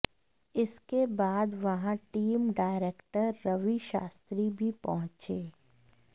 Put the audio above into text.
इसके बाद वहां टीम डायरेक्टर रवि शास्त्री भी पहुंचे